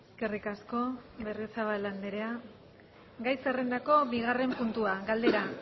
eskerrik asko berriozabal andrea gai zerrendako bigarren puntua galdera